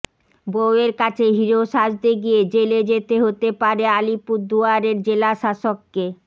বউয়ের কাছে হিরো সাজতে গিয়ে জেলে যেতে হতে পারে আলিপুরদুয়ারের জেলাশাসককে